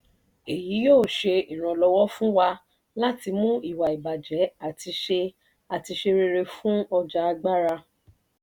èyí yóò ṣe ìrànlọ́wọ́ fún wa láti mú ìwà-ìbàjẹ́ àti ṣe àti ṣe rere fún ọjà agbára.